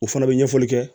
O fana bɛ ɲɛfɔli kɛ